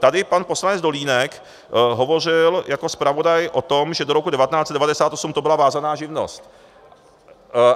Tady pan poslanec Dolínek hovořil jako zpravodaj o tom, že do roku 1998 to byla vázaná živnost.